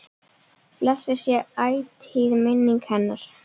Blessuð sé ætíð minning hennar.